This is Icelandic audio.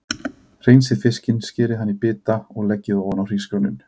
Hreinsið fiskinn, skerið hann í bita og leggið ofan á hrísgrjónin.